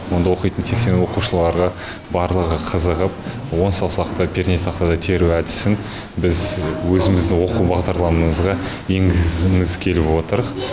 онда оқитын сексен оқушының барлығы қызығып он саусақты пернетақтада теру әдісін біз өзіміздің оқу бағдарламамызға енгізгіміз келіп отыр